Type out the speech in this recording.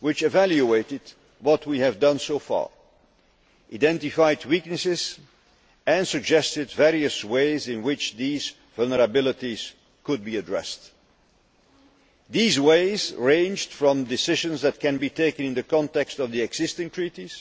which evaluated what we have done so far, identified weaknesses and suggested various ways in which these vulnerabilities could be addressed. These ways ranged from decisions that can be taken in the context of the existing treaties,